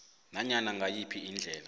nanyana ngayiphi indlela